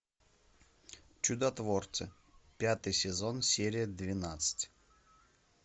чудотворцы пятый сезон серия двенадцать